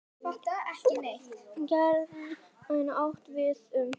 Popp getur átt við um